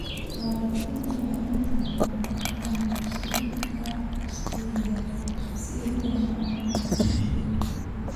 Waalidiintu waxay inta badan doortaan dugsiyo gaar loo leeyahay si ay u helaan waxbarasho joogto ah.